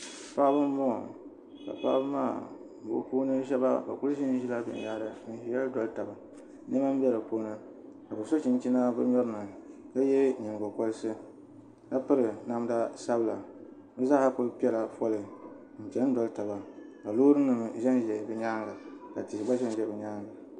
Paɣa n bɔŋɔ ka paɣa maa bɛ puuni shɛba bɛ kuli Zilla n dolidoli taba ka bɛ so chinchina bɛ nyorinI n dolidoli taba ka ye ningokorisi ka piri namda sabila bɛ zaaha kuli pɛla foli ka loorinima ʒɛʒɛ bɛ nyaanŋa ka tihi gbba bɛni